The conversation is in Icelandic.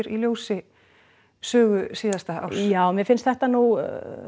í ljósi sögu síðasta árs já mér finnst þetta nú